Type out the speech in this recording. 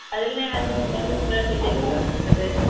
അതെല്ലാം